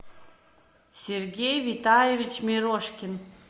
сергей витальевич мирошкин